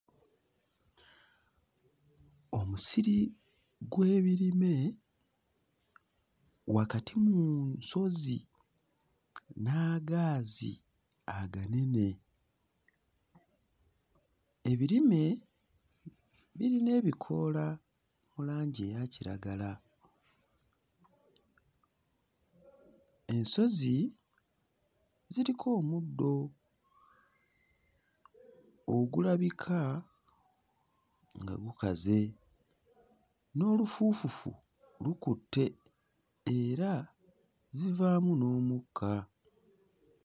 Omusiri gw'ebirime wakati mu nsozi n'agaazi aganene. Ebirime birina ebikoola mu langi eya kiragala. Ensozi ziriko omuddo ogulabika nga gukaze, n'olufuufufu lukutte era zivaamu n'omukka.